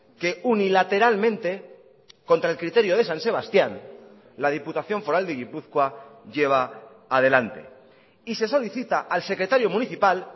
que unilateralmente contra el criterio de san sebastián la diputación foral de gipuzkoa lleva adelante y se solicita al secretario municipal